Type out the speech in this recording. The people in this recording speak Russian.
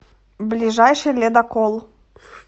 ближайший ледокол